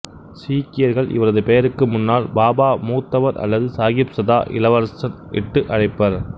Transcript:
சீக்கியர்கள் இவரது பெயருக்கு முன்னாள் பாபா மூத்தவர் அல்லது சாகிப்சதா இளவர்சன் இட்டு அழைப்பர்